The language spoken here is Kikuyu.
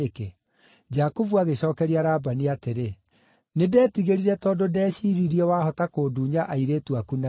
Jakubu agĩcookeria Labani atĩrĩ, “Nĩndetigĩrire tondũ ndeciiririe wahota kũndunya airĩtu aku na hinya.